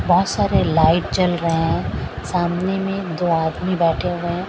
बहोत सारे लाइट जल रहे हैं सामने मे दो आदमी बैठें हुए हैं।